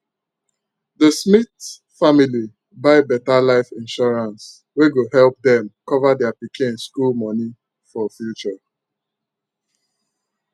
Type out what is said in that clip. d smith family buy better life insurance wey go epp dem cover dia pikin school moni for future